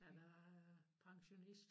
At jeg er pensionist